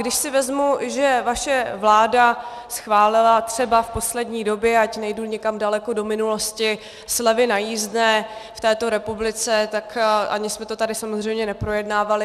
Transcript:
Když si vezmu, že vaše vláda schválila třeba v poslední době, ať nejdu někam daleko do minulosti, slevy na jízdné v této republice, tak ani jsme to tady samozřejmě neprojednávali.